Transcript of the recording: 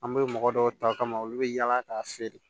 An bɛ mɔgɔ dɔw ta ka ma olu bɛ yaala k'a feere